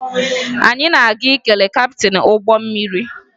Anyị na-aga ikele kaptịn ụgbọ mmiri